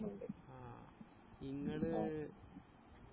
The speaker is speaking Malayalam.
ആ ഇങ്ങള്